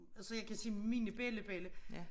Altså jeg kan sige mine bella bella